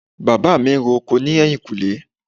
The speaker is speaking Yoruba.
Bàbá mi ń ro oko ní ẹ̀yìnkùlé